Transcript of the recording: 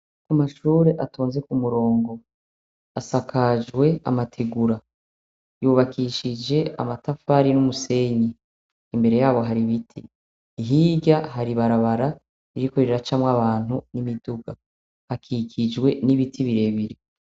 Amashure atonze ku murongo asakajwe amategura yubakishije amatafari n'umusenyi imbere yayo hari ibiti hirya hari ibarabara ririko riracamwo abantu n'imiduga hakikijwe n'ibiti birebire.